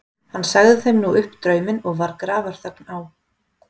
Sagði hann þeim nú upp drauminn og var grafarþögn á.